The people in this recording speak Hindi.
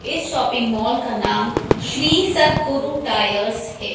इस शॉपिंग मॉल का नाम श्री सतगुरु टायर्स है।